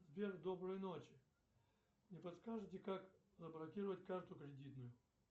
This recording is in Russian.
сбер доброй ночи не подскажите как заблокировать карту кредитную